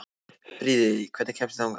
Friðey, hvernig kemst ég þangað?